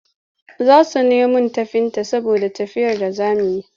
Za su nemo tafinta saboda tafiyar da za su yi.